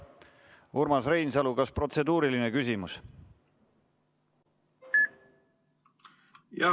Urmas Reinsalu, kas protseduuriline küsimus?